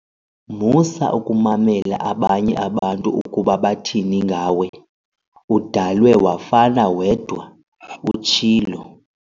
Musa ukumamela abanye abantu ukuba bathini ngawe, udalwe wafana wedwa," utshilo.